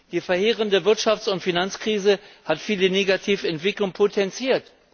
Die verheerende Wirtschafts und Finanzkrise hat viele negative Entwicklungen potenziert.